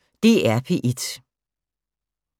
DR P1